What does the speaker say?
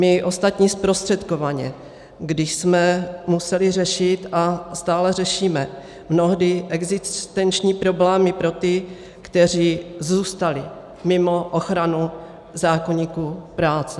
My ostatní zprostředkovaně, když jsme museli řešit a stále řešíme mnohdy existenční problémy pro ty, kteří zůstali mimo ochranu zákoníku práce.